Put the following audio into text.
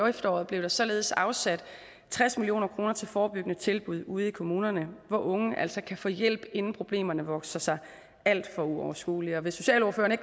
efteråret blev der således afsat tres million kroner til forebyggende tilbud ude i kommunerne hvor unge altså kan få hjælp inden problemerne vokser sig alt for uoverskuelige og hvis socialordførerne